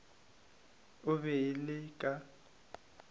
o be o le ka